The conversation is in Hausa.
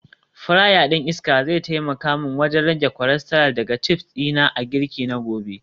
Fryer din iska zai taimaka min wajen rage cholesterol daga chips dina a girki na gobe